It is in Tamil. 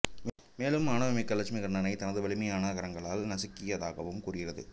மேலும் ஆணவமிக்க இலட்சுமிகர்ணனை தனது வலிமையான கரங்களால் நசுக்கியதாகவும் கூறுகிறது